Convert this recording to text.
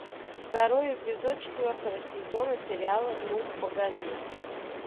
второй эпизод четвертого сезона сериала ну погоди